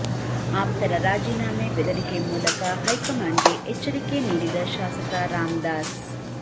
ಆಪ್ತರ ರಾಜೀನಾಮೆ ಬೆದರಿಕೆ ಮೂಲಕ ಹೈಕಮಾಂಡ್ಗೆ ಎಚ್ಚರಿಕೆ ನೀಡಿದ ಶಾಸಕ ರಾಮದಾಸ್